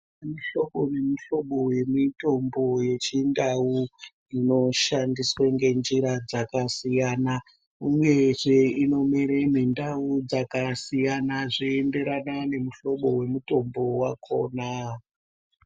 Kune muhlobo ne mu hlobo we mitombo yechi ndau ino shandiswe nge njira dzaka siyana uyezve ino mere mu ndau dzaka siyana zvei enderana ne muhlobo we mutombo wakona.